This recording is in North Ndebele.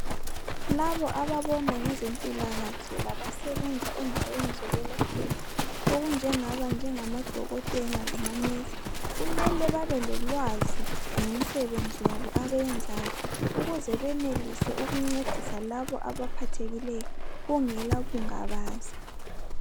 Labo ababona ngezempilakahle labasebenza endaweni zokwelaphela okunjengamadokotela labomongikazi kumele babe lolwazi ngemisebenzi yabo abayenzayo ukuze benelise ukuncedisa labo abaphathekileyo kungela kungabaza.